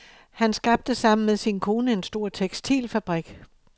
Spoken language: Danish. Han skabte sammen med sin kone en stor tekstilfabrik.